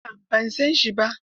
A'a ban san shi ba.